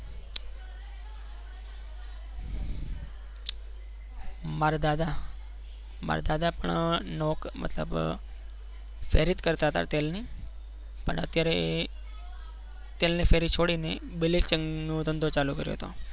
મારા દાદા. મારા દાદા પણ નોકરી મતલબ ફેરી જ કરતા હતા તેલની, પણ અત્યારે તેલની ફેરી છોડીને બ્લીચિંગ નો ધંધો ચાલુ કર્યો હતો.